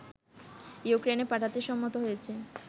ইউক্রেনে পাঠাতে সম্মত হয়েছে